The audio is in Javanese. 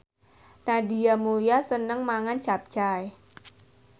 Nadia Mulya seneng mangan capcay